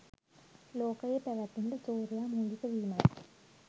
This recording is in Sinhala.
ලෝකයේ පැවැත්මට සූර්යයා මූලික වීමයි.